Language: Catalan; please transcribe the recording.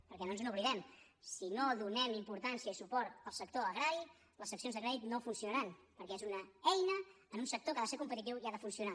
perquè no ens n’oblidem si no donem importància i suport al sector agrari les seccions de crèdit no funcionaran perquè és una eina en un sector que ha de ser competitiu i ha de funcionar